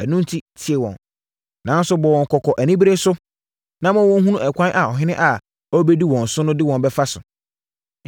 Ɛno enti, tie wɔn, nanso bɔ wɔn kɔkɔ anibereɛ so, na ma wɔnhunu ɛkwan a ɔhene a ɔrebɛdi wɔn so no de wɔn bɛfa so.”